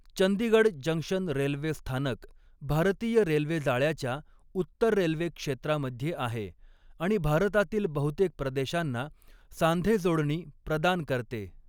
Chandigarh junction railway स्थानक भारतीय railway जाळ्याच्या उत्तर रेल्वे क्षेत्रामध्ये आहे आणि भारतातील बहुतेक प्रदेशांना सांधेजोडणी प्रदान करते.